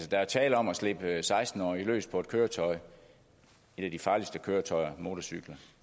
der er tale om at slippe seksten årige løs på et køretøj et af de farligste køretøjer motorcykler